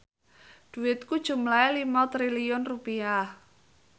dhuwitku jumlahe 5 triliun rupiah